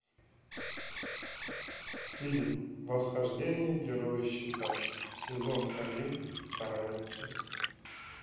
фильм восхождение героя щита сезон один вторая часть